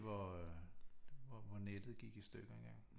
Det var oppe hvor nettet gik i stykker en gang